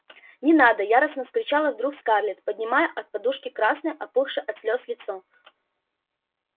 не надо яростно вскричала вдруг скарлетт поднимая от подушки красное опухшее от слёз лицо